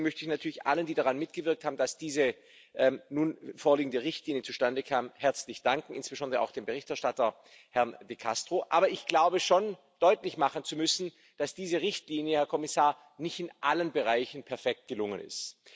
Deswegen möchte ich natürlich allen, die daran mitgewirkt haben, dass diese nun vorliegende Richtlinie zustande kam, herzlich danken, insbesondere auch dem Berichterstatter, Herrn de Castro. Aber ich glaube schon, deutlich machen zu müssen, dass diese Richtlinie, Herr Kommissar, nicht in allen Bereichen perfekt gelungen ist.